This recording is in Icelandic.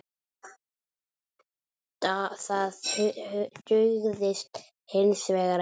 Það dugði hins vegar ekki.